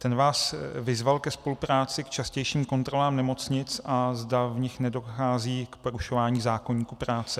Ten vás vyzval ke spolupráci k častějším kontrolám nemocnic, a zda v nich nedochází k porušování zákoníku práce.